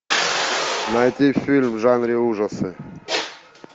найти фильм в жанре ужасы